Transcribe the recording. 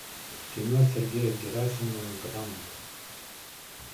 кино сергея герасимова гранд